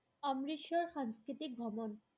অমৃতসৰৰ সাংস্কৃতিক ভ্ৰমণ